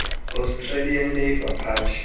australian labor party